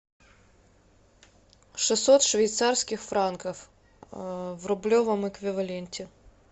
шестьсот швейцарских франков в рублевом эквиваленте